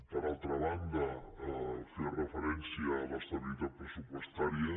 per altra banda feia referència a l’estabilitat pressupostària